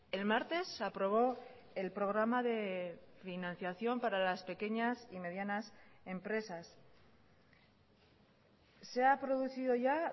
el martes se aprobó el programa de financiación para las pequeñas y medianas empresas se ha producido ya